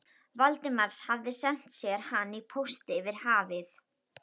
Valdimars, hefði sent sér hana í pósti yfir hafið.